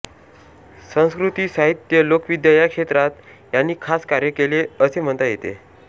संस्कृती साहित्य लोकविद्या या क्षेत्रात यांनी खास कार्य केले असे म्हणता येते